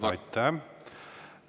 Aitäh!